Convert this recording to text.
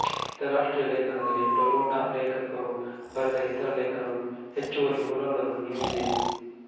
ಅಂತಾರಾಷ್ಟ್ರೀಯ ಲೇಖನದಲ್ಲಿ ಟೊಯೊಟಾ ಲೇಖಕರು ಬರೆದ ಇತರ ಲೇಖನವು ಹೆಚ್ಚುವರಿ ವಿವರಗಳನ್ನು ನೀಡಿದೆ